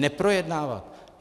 Neprojednávat!